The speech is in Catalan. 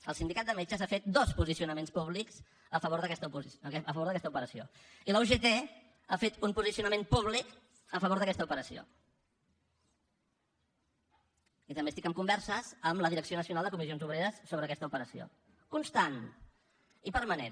el sindicat de metges ha fet dos posicionaments públics a favor d’aquesta operació i la ugt ha fet un posicionament públic a favor d’aquesta operació i també estic en converses amb la direcció nacional de comissions obreres sobre aquesta operació constant i permanent